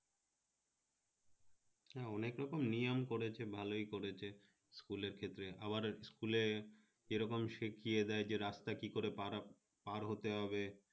হ্যাঁ অনেক রকম নিয়ম করেছে ভালই করেছে school এর ক্ষেত্রে আবার school এ যেরকম শিখিয়ে দেয় যে রাস্তা কিভাবে পারাপার কি করে পার হতে হবে